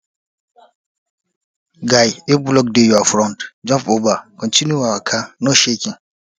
guy if block dey your front jump over continue your waka no shaking